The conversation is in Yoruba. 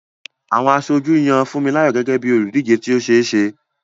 Àwọn aṣojú yan Funmilayo gẹ́gẹ́ bí olùdíje tí ó ṣe é ṣe.